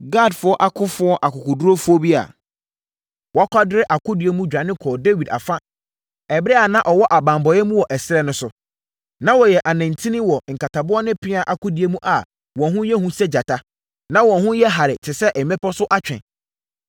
Gadfoɔ akofoɔ akokoɔdurufoɔ bi a wɔakwadare akodie mu dwane kɔɔ Dawid afa ɛberɛ a na ɔwɔ abanbɔeɛ mu wɔ ɛserɛ no so. Na wɔyɛ anintini wɔ nkataboɔ ne pea akodie mu a wɔn ho yɛ hu sɛ gyata, na wɔn ho yɛ hare te sɛ mmepɔ so atwe.